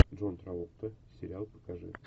джон траволта сериал покажи